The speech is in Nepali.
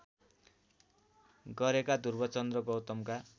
गरेका ध्रुवचन्द्र गौतमका